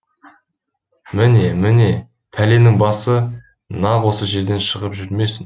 міне міне пәленің басы нақ осы жерден шығып жүрмесін